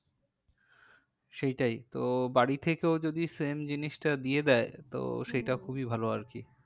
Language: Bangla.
সেইটাই তো বাড়ি থেকেও যদি same জিনিসটা দিয়ে দেয় তো সেটা খুবই ভালো আর কি